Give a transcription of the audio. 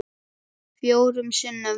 Fjórum sinnum?